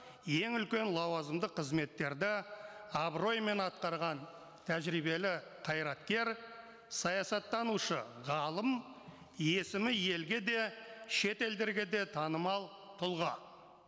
ең үлкен лауазымдық қызметтерді абыроймен атқарған тәжірибелі қайраткер саясаттанушы ғалым есімі елге де шет елдерге де танымал тұлға